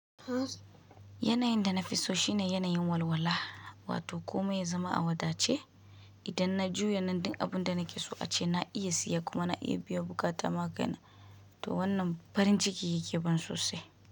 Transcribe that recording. Yanayin da na fi so shine yanayin walwala, wato komai ya zama a wadace. Idan na juya nan din abin da na ke so ace na iya siya, kuma na iya biya buƙata magana, to wannan farin ciki yake ban sosai.